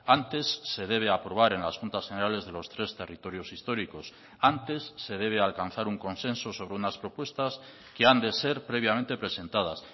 antes se debe aprobar en las juntas generales de los tres territorios históricos antes se debe alcanzar un consenso sobre unas propuestas que han de ser previamente presentadas